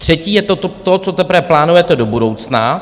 Třetí je to, co teprve plánujete do budoucna.